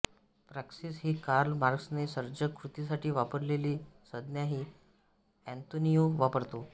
praxis ही Karl मार्क्सने सर्जक कृतीसाठी वापरलेली संज्ञाही एन्तोनिओ वापरतो